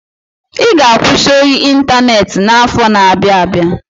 I ga-akwụsị ohi ịntaneti afọ na-abia abịa.